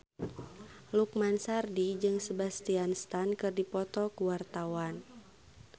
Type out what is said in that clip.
Lukman Sardi jeung Sebastian Stan keur dipoto ku wartawan